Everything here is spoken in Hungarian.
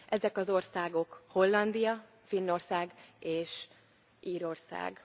Ezek az országok Hollandia, Finnország és Írország.